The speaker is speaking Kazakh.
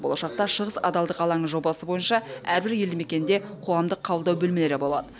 болашақта шығыс адалдық алаңы жобасы бойынша әрбір елді мекенде қоғамдық қабылдау бөлмелері болады